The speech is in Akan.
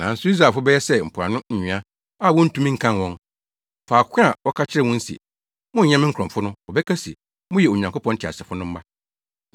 “Nanso Israelfo bɛyɛ sɛ mpoano nwea a wontumi nkan wɔn. Faako a wɔka kyerɛɛ wɔn se, ‘Monnyɛ me nkurɔfo’ no, wɔbɛka se, ‘Moyɛ Onyankopɔn teasefo no mma.’